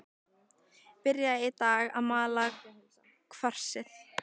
Byrjað í dag að mala kvarsið.